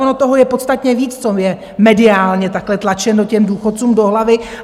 Ono toho je podstatně víc, co je mediálně takhle tlačeno těm důchodcům do hlavy.